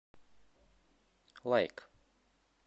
лайк